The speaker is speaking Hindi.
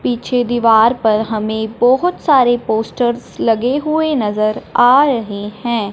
पीछे दीवार पर हमें बहुत सारे पोस्टर्स लगे हुए नजर आ रहे हैं।